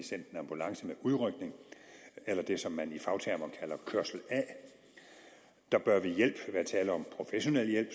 ambulance med udrykning eller det som man i fagtermer kalder kørsel a der bør ved hjælp være tale om professionel hjælp